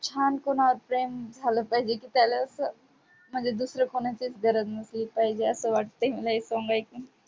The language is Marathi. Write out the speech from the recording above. छान कुणावर प्रेम झालं पाहिजे की त्याला असं म्हणजे दूसरं कुणाशीच गरज नसली पाहिजे असं वाटतंय मला हे song ऐकून.